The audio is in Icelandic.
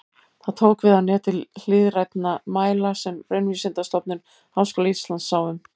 Það tók við af neti hliðrænna mæla sem Raunvísindastofnun Háskóla Íslands sá um.